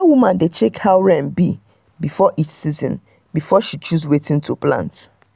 dat woman dey check how rain be for each season before she choose wetin to plant.